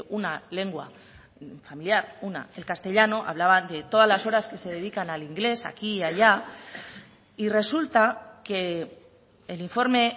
una lengua familiar una el castellano hablaba de todas las horas que se dedican al inglés aquí y allá y resulta que el informe